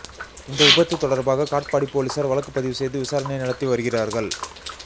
இந்த விபத்து தொடர்பாக காட்பாடி போலீசார் வழக்குப்பதிவு செய்து விசாரணை நடத்தி வருகிறார்கள்